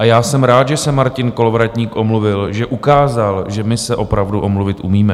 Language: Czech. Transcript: A já jsem rád, že se Martin Kolovratník omluvil, že ukázal, že my se opravdu omluvit umíme.